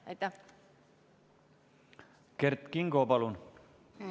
Kert Kingo, palun!